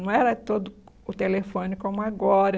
Não era todo o telefone como agora.